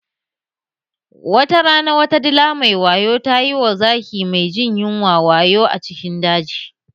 Watarana wata dila mai wayo tayi wa zaki mai jin yunwa wayo a cikin daji